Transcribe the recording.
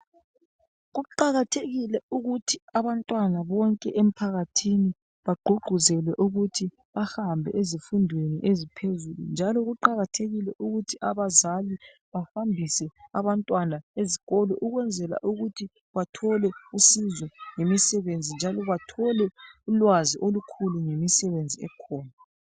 Kuqakathekile ukuthi abantwana bonke emphakathini bagqugquzelwe ukuthi bahambe ezifundweni eziphezulu njalo kuqakathekile ukuthi abazali bahambise abantwana ezikolo ukwenzela ukuthi bathole usizo lemisebenzi njalo bathole ulwazi olukhulu ngemisebenzi ekhona.